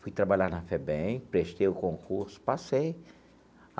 Fui trabalhar na FEBEM, prestei o concurso, passei.